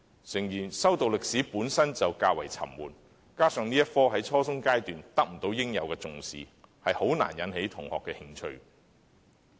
誠然，修讀歷史本身便較為沉悶，加上這科目在初中階段得不到應有的重視，很難引起同學的興趣。